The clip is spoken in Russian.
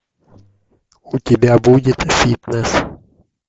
у тебя будет фитнесс